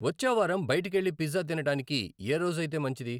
వచ్చే వారం బయటకెళ్ళి పిజ్జా తినడానికి ఏరోజయితే మంచిది?